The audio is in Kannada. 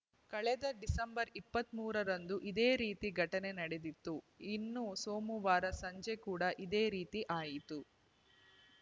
ಕಳೆದ ಡಿಸೆಂಬರ್‌ ಇಪ್ಪತ್ತ್ ಮೂರರಂದು ಇದೇ ರೀತಿಯ ಘಟನೆ ನಡೆದಿತ್ತು ಇನ್ನು ಸೋಮವಾರ ಸಂಜೆ ಕೂಡ ಇದೇ ರೀತಿ ಆಯಿತು